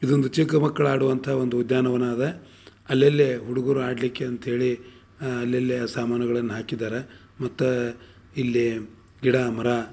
ಇದು ಒಂದು ಚಿಕ್ಕ ಮಕ್ಕಳ ಹಾಡುವಂತ ಒಂದು ಉದ್ಯಾನವನ ಅದ. ಅಲ್ಲಲ್ಲೇ ಹುಡುಗರು ಆಡಲಿಕ್ಕೆ ಅಂತ ಹೇಳಿ ಅಹ್ ಅಲ್ಲಲ್ಲಿ ಸಾಮಾನುಗಳನ್ನು ಹಾಕಿದ್ದಾರೆ. ಮತ್ತ ಇಲ್ಲಿ ಗಿಡ ಮರ --